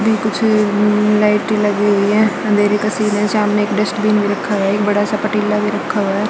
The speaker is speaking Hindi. ये कुछ ल लाइटें लगी हुई हैं अंधेरे का सीन है सामने एक डस्टबिन भी रखा है एक बड़ा सा पतीला भी रखा हुआ है।